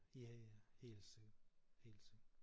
Ja ja helt sikkert helt sikkert